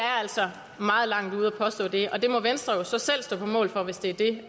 er altså meget langt ude at påstå det og det må venstre så selv stå på mål for hvis det er det